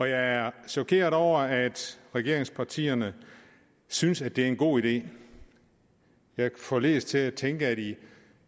jeg er chokeret over at regeringspartierne synes at det er en god idé jeg forledes til at tænke at de